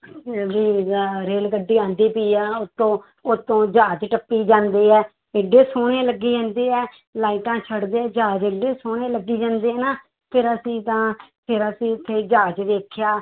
rail ਗੱਡੀ ਆਉਂਦੀ ਪਈ ਆ ਉੱਤੋਂ, ਉੱਤੋਂ ਜਹਾਜ਼ ਟੱਪੀ ਜਾਂਦੇ ਆ, ਇੱਡੇ ਸੋਹਣੇ ਲੱਗੀ ਜਾਂਦੇ ਆ, ਲਾਇਟਾਂ ਛੱਡਦੇ ਜਹਾਜ਼ ਇੱਡੇ ਸੋਹਣੇ ਲੱਗੀ ਜਾਂਦੇ ਨਾ ਫਿਰ ਅਸੀਂ ਤਾਂ ਫਿਰ ਅਸੀਂ ਉੱਥੇ ਜਹਾਜ਼ ਵੇਖਿਆ